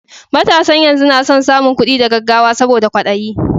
Matasan yanzu na son samun kuɗi da gaggawa saboda kwaɗayi